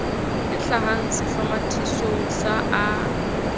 e hlahang sehlomathisong sa a